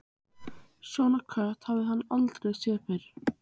Svona kött hafði hann aldrei séð fyrr.